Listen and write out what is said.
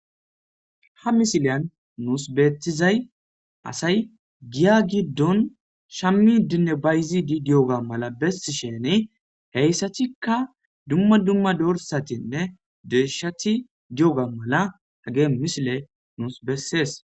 Ha misileyan nuus beetizay asay giya giddon shammi dinne bayzidi di'oga mala bessi shene heyssatikka dumma dumma dorsatinne deeshati di'oga mala hage misile nuus bessees.